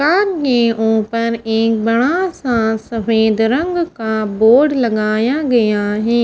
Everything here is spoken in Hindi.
सामने ऊपर एक बड़ा सा सफेद रंग का बोर्ड लगाया गया है।